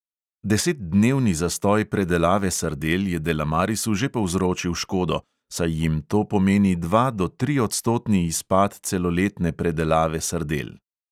Desetdnevni zastoj predelave sardel je delamarisu že povzročil škodo, saj jim to pomeni dva do triodstotni izpad celoletne predelave sardel.